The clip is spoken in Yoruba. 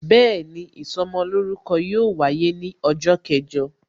Bẹẹni, ìsọmolórúkọ yóò wáyé ní ọjọ́ kẹjọ